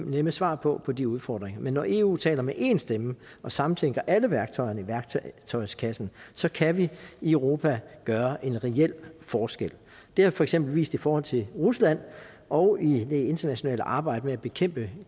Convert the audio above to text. nemme svar på på de udfordringer men når eu taler med én stemme og samtænker alle værktøjerne i værktøjskassen så kan vi i europa gøre en reel forskel det har for eksempel vist sig i forhold til rusland og i det internationale arbejde med at bekæmpe